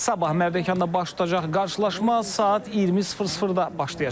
Sabah Mərdəkanda baş tutacaq qarşılaşma saat 20:00-da başlayacaq.